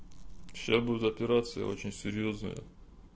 сейчас будет операция очень серьёзная